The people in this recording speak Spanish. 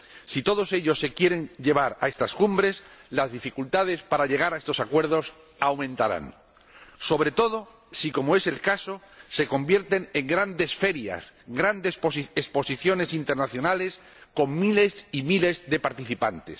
Si todos ellos se quieren llevar a estas cumbres, las dificultades para llegar a estos acuerdos aumentarán, sobre todo si, como es el caso, se convierten en grandes ferias, grandes exposiciones internacionales, con miles y miles de participantes.